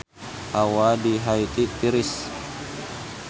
Hawa di Haiti tiris